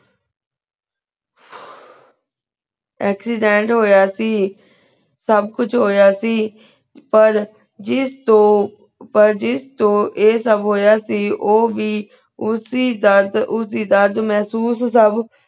accident ਹੋਯਾ ਸੀ ਸਬ ਕੁਛ ਹੋਯਾ ਸੀ ਪਰ ਜਿਸ ਤੋ ਪਰ ਜਿਸ ਤੋ ਆਯ ਸਬ ਹੋਯਾ ਸੀ ਊ ਵੀ ਉਸੀ ਦਰਦ ਉਸੀ ਦਰਦ ਮੇਹ੍ਸੂਸ ਸਬ